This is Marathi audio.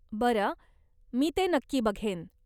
बरं, मी ते नक्की बघेन.